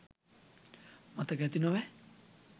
මතක ඇති නොවැ.